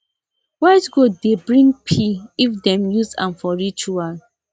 white goat dey bring peae if dem use am for ritual